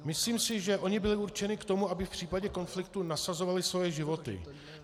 Myslím si, že oni byli určeni k tomu, aby v případě konfliktu nasazovali svoje životy.